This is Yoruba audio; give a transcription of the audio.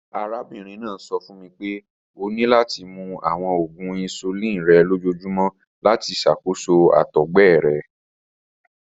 Arabinrin naa sọ fun mi pe o ni lati mu awọn oògùn insulin rẹ lojoojumọ lati ṣakoso àtọgbẹ rẹ